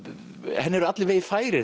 henni eru allir vegir færir